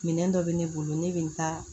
Minɛn dɔ bɛ ne bolo ne bɛ n ta